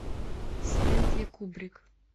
стэнли кубрик